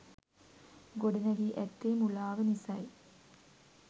ගොඩනැඟී ඇත්තේ මුලාව නිස යි.